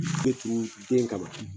be turu den kama